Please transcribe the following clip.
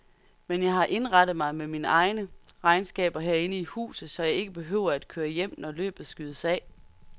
Men jeg har indrettet mig med mine regnskaber herinde i huset, så jeg ikke behøver at køre hjem, når løbet skydes af.